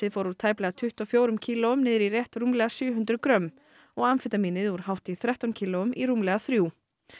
fór úr tæplega tuttugu og fjórum kílóum niður í rétt rúmlega sjö hundruð grömm og amfetamínið úr hátt í þrettán kílóum í rúmlega þrjú